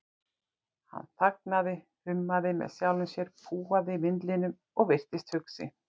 Hann þagnaði, hummaði með sjálfum sér, púaði vindilinn og virtist hugsi.